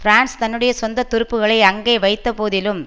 France தன்னுடைய சொந்த துருப்புக்களை அங்கே வைத்தபோதிலும்